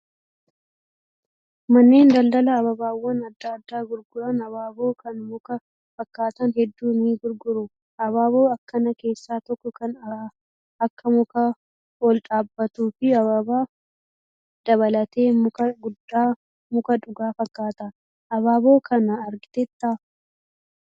Manneen daldalaa abaaboowwan adda addaa gurguran abaaboo kan muka fakkaatan hedduu ni gurguru. Abaaboo akkanaa keessaa tokko kan akka mukaa ol dhaabbatuu fi ababaa dabalatee muka dhugaa fakkaata. Abaaboo kana argiteettaa?